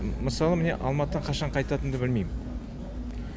мысалы міне алматыдан қашан қайтатынымды білмеймін